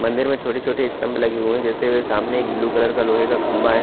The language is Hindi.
मंदिर में छोटी छोटी स्तंभ लगी हुई है जैसे सामने एक ब्लू कलर का खम्बा है।